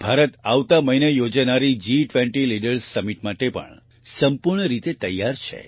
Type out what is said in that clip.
ભારત આવતા મહિને યોજાનારી G20 લીડર્સ સમિટ માટે સંપૂર્ણ રીતે તૈયાર છે